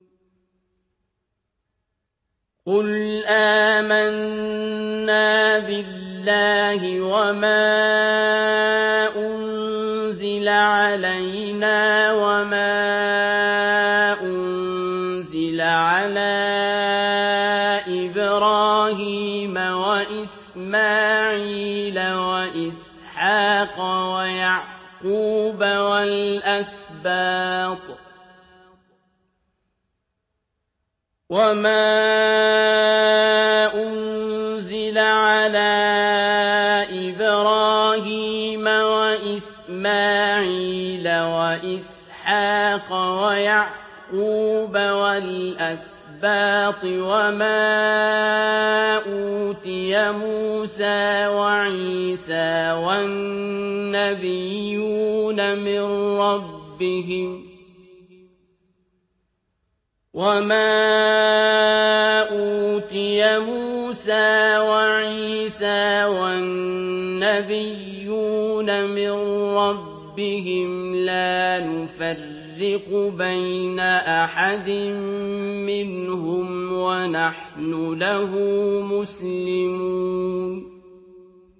قُلْ آمَنَّا بِاللَّهِ وَمَا أُنزِلَ عَلَيْنَا وَمَا أُنزِلَ عَلَىٰ إِبْرَاهِيمَ وَإِسْمَاعِيلَ وَإِسْحَاقَ وَيَعْقُوبَ وَالْأَسْبَاطِ وَمَا أُوتِيَ مُوسَىٰ وَعِيسَىٰ وَالنَّبِيُّونَ مِن رَّبِّهِمْ لَا نُفَرِّقُ بَيْنَ أَحَدٍ مِّنْهُمْ وَنَحْنُ لَهُ مُسْلِمُونَ